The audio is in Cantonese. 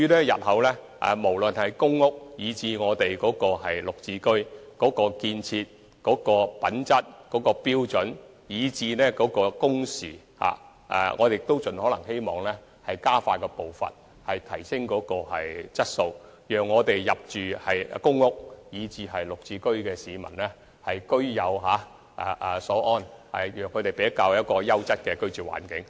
日後無論是公屋或"綠置居"，在建築質素及工程時間方面，我們都希望盡可能加快步伐、提升質素，讓入住公屋和"綠置居"單位的市民居有所安，為他們提供優質的居住環境。